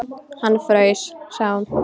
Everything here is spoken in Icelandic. Hann fraus, sagði hún.